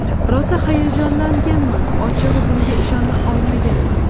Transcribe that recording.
Rosa hayajonlanganman, ochig‘i bunga ishona olmaganman.